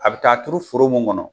A bɛ taa turu foro mun kɔnɔ